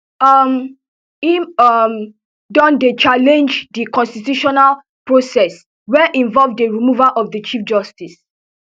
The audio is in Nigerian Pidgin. um im um don dey challenge di constitutional process wey involve di removal of di chief justice